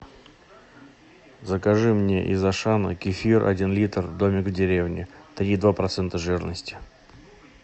закажи мне из ашана кефир один литр домик в деревне три и два процента жирности